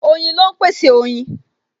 Oyin ló ń pèsè oyin